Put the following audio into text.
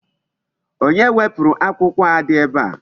Onye wepụrụ akwụkwọ a dị ebe a?